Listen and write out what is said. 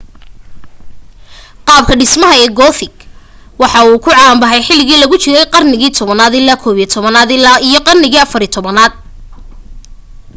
qaabka dhismaha ee gothic waxaa uu soo caan bahay xiligi lagu jirey qarnigi 10 naad ilaa 11 naad iyo qarnigi 14 naad